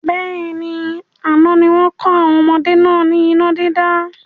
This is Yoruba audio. Bẹ́ẹ̀ni, àná ni wọn kọ́ àwọn ọmọdé náà ni iná dídá